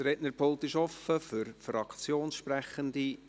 Das Rednerpult ist frei für Fraktionssprechende;